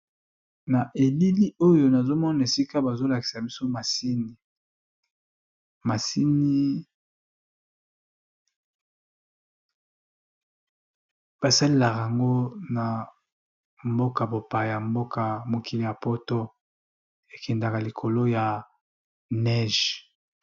Na elili oyo nazo mona esika bazo lakisa biso masini, masini ba salelaka yango na mboka bopaya mboka mokili ya poto ekendaka likolo ya neige.